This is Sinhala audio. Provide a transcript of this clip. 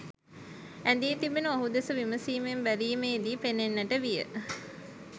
ඇඳී තිබෙණු ඔහු දෙස විමසීමෙන් බැලීමේදී පෙනෙන්නට විය